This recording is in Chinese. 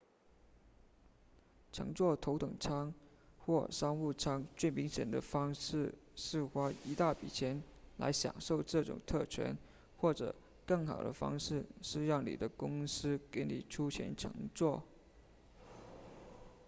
乘坐头等舱或商务舱最明显的方式是花一大笔钱来享受这种特权或者更好的方式是让你的公司给你出钱乘坐